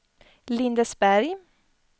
Lindesberg